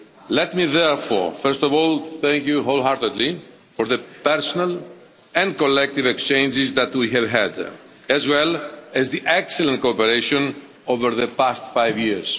Let me, therefore, first of all thank you wholeheartedly for the personal and collective exchanges that we have had, as well as the excellent cooperation over the past five years.